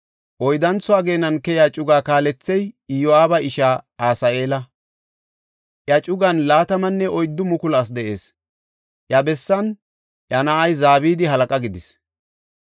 Oyddantho ageenan keyiya cugaa kaalethey Iyo7aaba ishaa Asaheela; iya cugan 24,000 asi de7ees. Iya bessan iya na7ay Zabadi halaqa gidis.